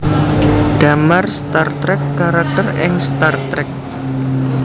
Damar Star Trek karakter ing Star Trek